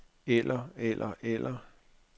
eller eller eller